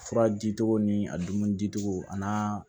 Fura dicogo ni a dumuni dicogo ani